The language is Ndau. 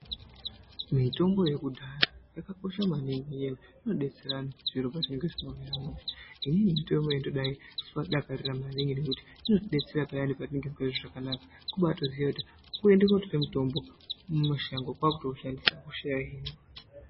Mitombo yekudhaya yakakosha maningi ngenyaya yekuti inodetsera anhu zviro pazvinenge zvisina kumira mushe. Inini mitombo iyi ndombaiidakarira maningi ngekuti inotidetsera payani patinenge tisingazqi zvakanaka, kubatozita kuti kutoende mitombo kwaakutoushandisa, hosha yohinika.